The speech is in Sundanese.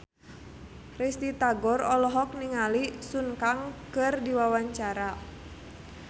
Risty Tagor olohok ningali Sun Kang keur diwawancara